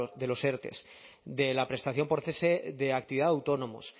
de los erte de la prestación por cese de actividad de autónomos